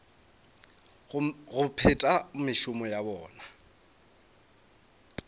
go phetha mešomo ya bona